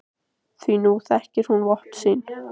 Því nú þekkir hún vopn sín.